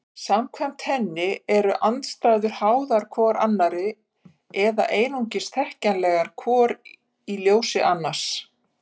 Samkvæmt henni eru andstæður háðar hvor annarri eða einungis þekkjanlegar hvor í ljós annarrar.